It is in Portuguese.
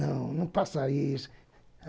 Não, não faça isso.